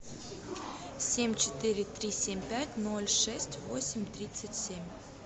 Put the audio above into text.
семь четыре три семь пять ноль шесть восемь тридцать семь